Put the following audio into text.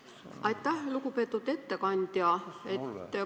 Aitäh, ettekandja!